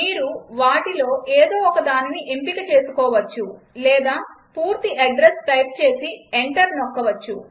మీరు వీటిలో ఏదో ఒకదానిని ఎంపిక చేసుకోవచ్చు లేదా పూర్తి అడ్రస్ టైప్ చేసి ఎంటర్ నొక్కవచ్చు